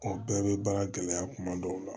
O bɛɛ bɛ baara gɛlɛya kuma dɔw la